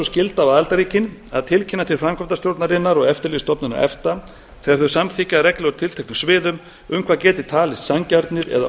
skylda á aðildarríkin að tilkynna til framkvæmdastjórnarinnar og eftirlitsstofnunar efta þegar þau samþykkja reglur á tilteknum sviðum um hvað geti talist sanngjarnir eða